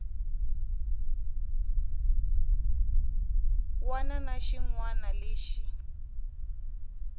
wana na xin wana lexi